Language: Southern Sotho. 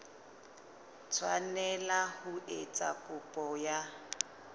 tshwanela ho etsa kopo ya